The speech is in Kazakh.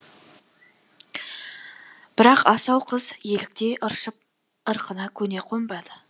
бірақ асау қыз еліктей ыршып ырқына көне қомбады